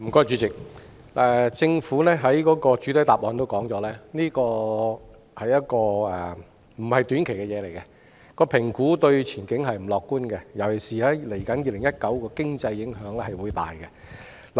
主席，政府在主體答覆提到，中美貿易摩擦並非短期事項，評估對前景並不樂觀，尤其是對2019年的經濟影響會很大。